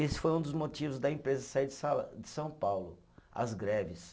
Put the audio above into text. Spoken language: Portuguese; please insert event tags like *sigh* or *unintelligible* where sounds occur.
Esse foi um dos motivos da empresa sair de *unintelligible* de São Paulo: as greves.